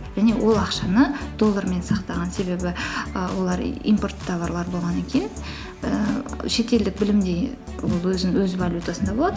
және ол ақшаны доллармен сақтаған себебі і олар импорт товарлары болғаннан кейін ііі шетелдік ол өз валютасында болады